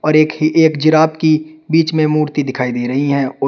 और एक ही एक जिराफ बीच में मूर्ति दिखाई दे रही हैं और--